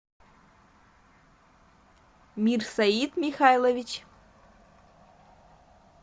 мирсаид михайлович